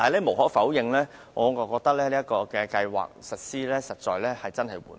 無可否認，此計劃實施得實在很慢。